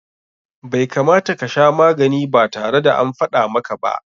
Bai kamata ka sha magani ba tare da an faɗa maka ba.